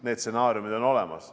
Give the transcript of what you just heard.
Need stsenaariumid on olemas.